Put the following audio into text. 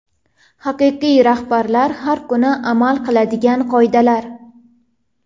Haqiqiy rahbarlar har kuni amal qiladigan qoidalar.